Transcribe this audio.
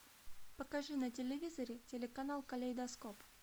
покажи на телевизоре телеканал калейдоскоп